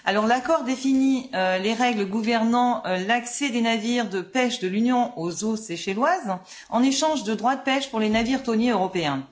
L'accord définit les règles gouvernant l'accès des navires de pêche de l'Union aux eaux seychelloises en échange de droits de pêche pour les navires thoniers européens.